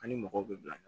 An ni mɔgɔw bɛ bila